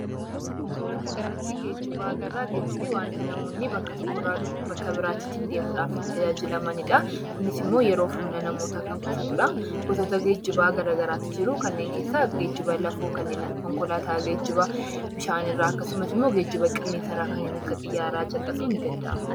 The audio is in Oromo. Suura kana irratti geejiba agarra. Geejibni waanta namoonni bakka tokko irraa bakka biraa ittiin deemuudhaaf tajaajilamanidha. Kunis immoo yeroo fi humna namootaa kan qusatudha. Gosoonni geejibaa garaa garaatu jiru. Kanneen keessaa: geejiba lafoo kanneen akka konkolaataa, geejiba bishaan irraa, akkasumas immoo geejiba qilleensa irraa kanneen akka xiyyaaraa caqasuun ni danda'ama.